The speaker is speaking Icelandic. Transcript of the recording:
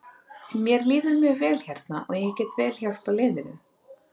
Mér líður mjög vel hérna og ég get vel hjálpað liðinu.